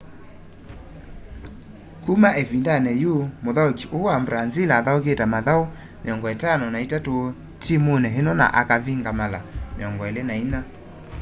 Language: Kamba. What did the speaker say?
kuma ivinda yu muthauki uu wa brazil athaukite mathauni 53 timuni ino na akavinga mala 24